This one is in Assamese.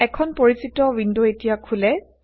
এখন পৰিচিত ৱিণ্ড এতিয়া খোলে